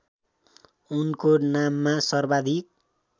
उनको नाममा सर्वाधिक